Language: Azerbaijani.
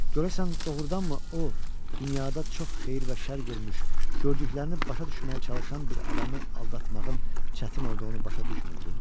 Görəsən doğrudanmı o, dünyada çox xeyir və şərr görmüş, gördüklərini başa düşməyə çalışan bir adamı aldatmağın çətin olduğunu başa düşmürdü?